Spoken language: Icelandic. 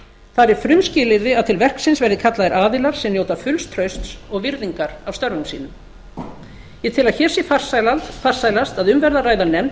þar er frumskilyrði að til verksins verði kallaðir aðilar sem njóta fulls trausts og virðingar af störfum sínum ég tel að hér sé farsælast að um verði að ræða nefnd